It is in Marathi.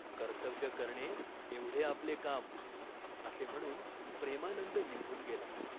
"कर्तव्य करणे एवढे आपले काम." असे म्हणून प्रेमानंद निघून गेला.